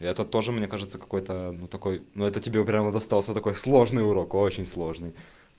и этот тоже мне кажется какой-то ну такой ну это тебе прямо достался такой сложный урок очень сложный